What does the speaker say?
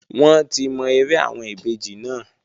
Wọ́n ti mọ eré àwọn ìbejì náà